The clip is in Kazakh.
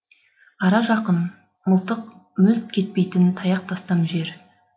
ара жақын мылтық мүлт кетпейтін таяқ тастам жер